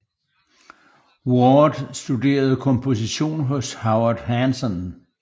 Ward studerede komposition hos Howard Hanson